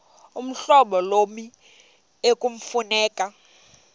uhlobo lommi ekufuneka